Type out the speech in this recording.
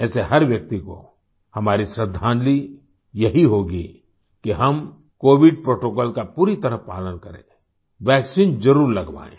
ऐसे हर व्यक्ति को हमारी श्रद्धांजलि यही होगी कि हम कोविड प्रोटोकॉल का पूरी तरह पालन करें वैक्सीन ज़रुर लगवाएं